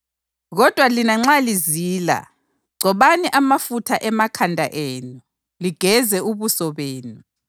Kodwa lina nxa lizila, gcobani amafutha emakhanda enu, ligeze ubuso benu,